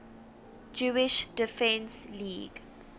jewish defense league